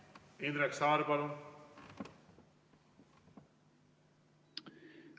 Indrek Saar, palun!